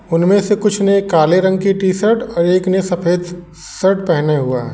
उनमें से कुछ ने काले रंग की टी-शर्ट और एक ने सफेद शर्ट पहने हुआ है।